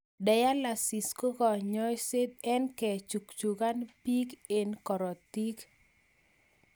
Dialyisi koo kanyasaet an kechukchukan beek en korotik